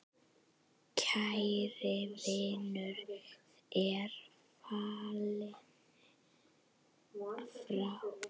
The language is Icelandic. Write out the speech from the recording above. Kær vinur er fallin frá.